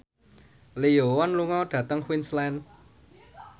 Lee Yo Won lunga dhateng Queensland